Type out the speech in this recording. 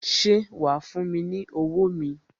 Ṣé wa fún mi ní owó mi?